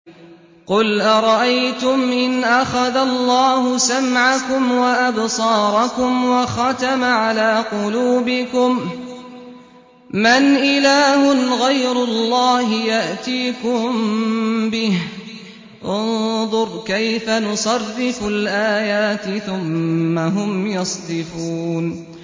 قُلْ أَرَأَيْتُمْ إِنْ أَخَذَ اللَّهُ سَمْعَكُمْ وَأَبْصَارَكُمْ وَخَتَمَ عَلَىٰ قُلُوبِكُم مَّنْ إِلَٰهٌ غَيْرُ اللَّهِ يَأْتِيكُم بِهِ ۗ انظُرْ كَيْفَ نُصَرِّفُ الْآيَاتِ ثُمَّ هُمْ يَصْدِفُونَ